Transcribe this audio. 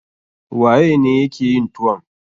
Waye ne ya ke yin tuwon?